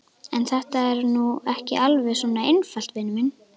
En þetta er nú ekki alveg svona einfalt, vinur minn.